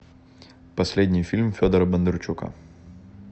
последний фильм федора бондарчука